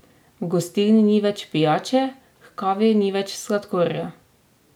V gostilni ni več pijače, h kavi nič več sladkorja!